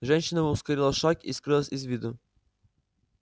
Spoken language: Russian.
женщина ускорила шаг и скрылась из виду